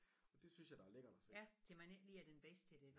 Og det synes jeg der er lækkert og se